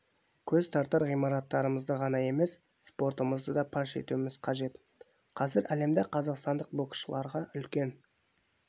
көз тартар ғимараттарымызды ғана емес спортымызды да паш етуіміз қажет қазір әлемде қазақстандық боксшыларға үлкен